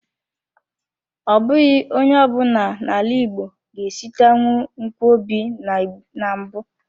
Ọ bụghị onye ọ bụla na-ala igbo ga-esitenwu nkwobi na mbụ.